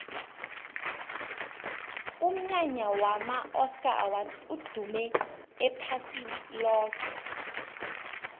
umnyanya wama oscar awards udume iphasi loke